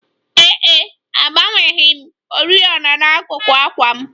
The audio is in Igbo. Ee e, agbanweghị m oriọna n'akuku àkwà m